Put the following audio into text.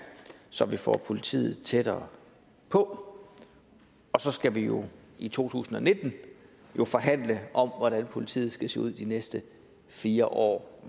så vi får politiet tættere på og så skal vi jo i to tusind og nitten forhandle om hvordan politiet skal se ud i de næste fire år